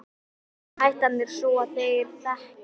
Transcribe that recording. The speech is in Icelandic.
En hættan er sú að þeir þekki